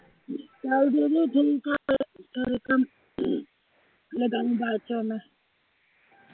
ਚਲ ਦੀਦੀ ਠੀਕ ਆ ਫੇਰ